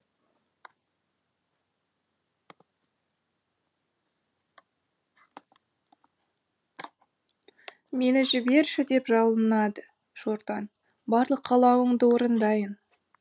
мені жіберші деп жалынады шортан барлық қалауыңды орындайын